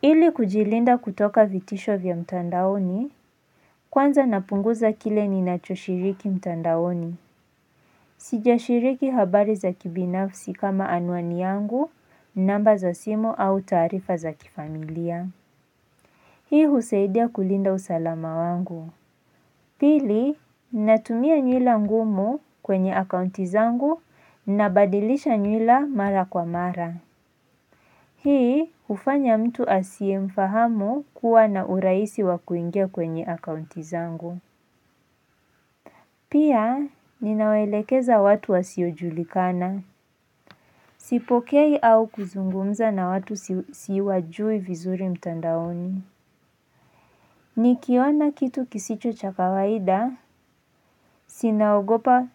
Ili kujilinda kutoka vitisho vya mtandaoni, kwanza napunguza kile ninachoshiriki mtandaoni. Sijashiriki habari za kibinafsi kama anuani yangu, namba za simu au taarifa za kifamilia. Hii husaidia kulinda usalama wangu. Pili, natumia nyuila ngumu kwenye akaunti zangu nabadilisha nyila mara kwa mara. Hii hufanya mtu asiye mfahamu kuwa na urahisi wa kuingia kwenye akaunti zangu. Pia ninawaelekeza watu wasiojulikana. Sipokei au kuzungumza na watu siwajui vizuri mtandaoni. Nikiona kitu kisicho cha kawaida, si naogopa